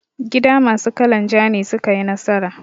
Gida masu kalan ja ne suka yi nasara.